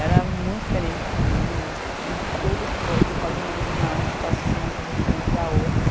Era muito diferente de mim em tudo que pode você pode imaginar que possa ser uma pessoa diferente da outra.